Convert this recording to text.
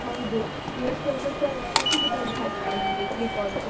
ಹೌದು, ಈ ವರ್ಷ ಹೊಸ ಅತಿಥಿ ಬಂದ ಹಾಗೆ ಅಲ್ಲ ನಿಮ್ಗೆ ದೀಪಾವಳಿಗೆ.